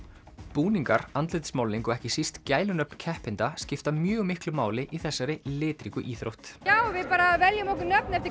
búningar andlitsmálning og ekki síst gælunöfn keppenda skipta mjög miklu máli í þessari litríku íþrótt já við bara veljum okkur nöfn eftir